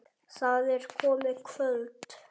Það er komið kvöld.